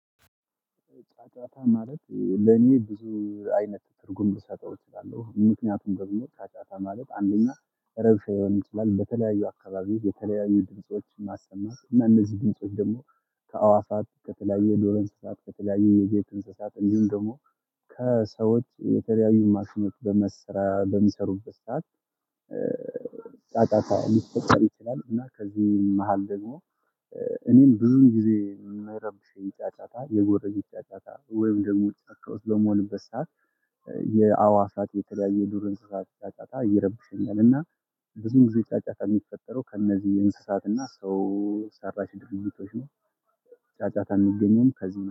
ጫጫታ ማለት ለኔ ብዙ አይነት ትርጉም ልሰጠው እችላለሁ ምክንያቱም ደሞ ጫጫታ ማለት አንደኛ ረብሻ ሊሆን ይችላል። በተለያዩ አካባቢ የተለያዩ ድምጾች ማሰማት እነዚህ ድምጾች ደግሞ ከአዋፋት ከተለያየ የዱር እንስሳት ከተለያየ የቤት እንስሳት እንዲሁም ደግሞ ከሰዎች የተለያዩ ማሽኖች በመሰራ በሚሰሩበት ሰዓት። ጫጫጫ ሊፈጠር ይችላል። እና ከዚህ መሃል ደግሞ እኔን ብዙን ጊዜ የሚረብሽኝ ጫጫታ የጎረቤት ጫጫታ ወይም ደግሞ ጫካ ውስጥ በምሆንበት ሰዓት የአዋፋት የተለያየ የዱር እንስሳት ጫጫታ ይረብሸኛል። እና ብዙ ጊዜ ጫጫታ የሚፈጠረው ከእነዚህ እንስሳት እና ሰው ሰራሽ ድርጅቶች ነው። ጫጫታ የሚገኘውም ከዚህ